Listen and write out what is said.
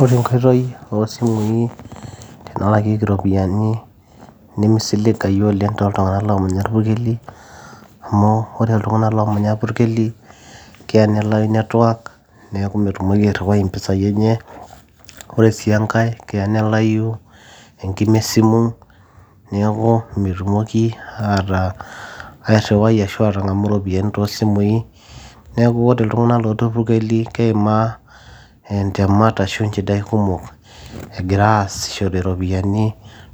ore enkoitoi oo simui tenalakieki iropiyiani nimisilagayu oleng toltung'anak loomanya irpurkeli amu ore iltunng'ana loomanya irpurkeli keya nelai network neeku metumoki airriwai impisai enye ore sii enkae keya nelayu enkima esimu niaku metumoki ataa airriwai ashu atang'amu iropiyiani toosimui neeku ore iltung'anak lotii irpurkeli keimaa intemat ashu inchidai kumok egira asishore iropiani